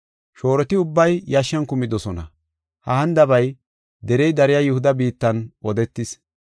Shooroti ubbay yashshan kumidosona. Ha hanidabay derey dariya Yihuda biittan odetis.